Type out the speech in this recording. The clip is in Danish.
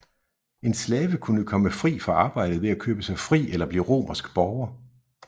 En slave kunne kun komme fri fra arbejdet ved at købe sig fri eller blive romersk borger